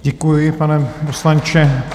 Děkuju, pane poslanče.